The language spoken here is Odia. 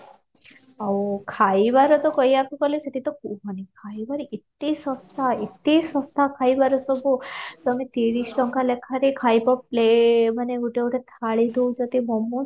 ଆଉ ଖାଇବାରେ ତ କହିବାକୁ ଗଲେ ସେଠି ତ କୁହନି ଖାଇବାରେ ଏତେ ଶସ୍ତା ଏତେ ଶସ୍ତା ଖାଇବାରେ ସବୁ ତମେ ତିରିଶ ଟଙ୍କା ଲେଖାରେ ଖାଇବା ମାନେ ଗୋଟେ ଗୋଟେ ଥାଳି ଦେଉଛନ୍ତି momo's